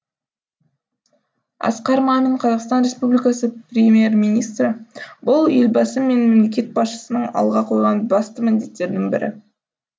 асқар мамин қазақстан республикасы премьер министрі бұл елбасы мен мемлекет басшысының алға қойған басты міндеттердің бірі